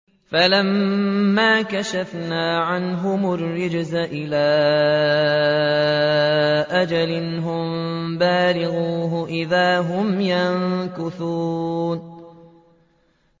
فَلَمَّا كَشَفْنَا عَنْهُمُ الرِّجْزَ إِلَىٰ أَجَلٍ هُم بَالِغُوهُ إِذَا هُمْ يَنكُثُونَ